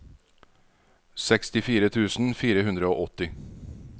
sekstifire tusen fire hundre og åtti